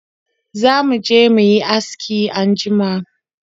Za mu je mu yi aski anjima.